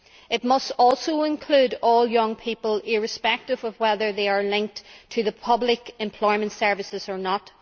It must also include all young people, irrespective of whether they are linked to the public employment services or not.